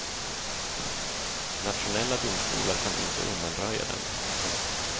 Nationella domstolar kan inte undanröja dem. punkt